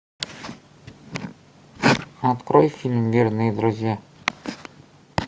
открой фильм верные друзья